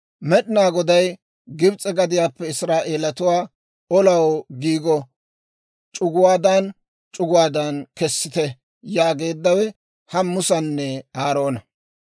Med'inaa Goday, «Gibs'e gadiyaappe Israa'eelatuwaa olaw giigo c'uguwaadan c'uguwaadan kessite» yaageeddawe ha Musanne Aaroona.